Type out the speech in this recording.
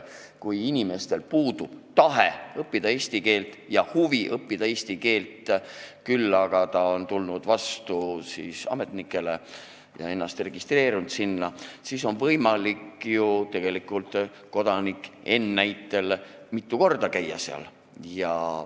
Kui inimesel puudub tahe ja huvi õppida eesti keelt, küll aga ta on tulnud vastu ametnikele ja ennast registreerinud, siis on võimalik ju tegelikult kodanikul N seal mitu korda käia.